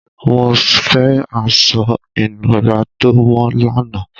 Mo fẹ́ aṣọ-ìnùra tó mọ́ lánàá!